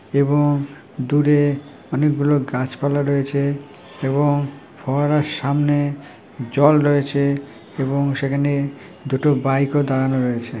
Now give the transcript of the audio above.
এবং দূরে অনেকগুলো গাছপালা রয়েছে এবং ফোয়ারার সামনে জল রয়েছে এবং সেখানে দুটো বাইকও দাঁড়ানো রয়েছে।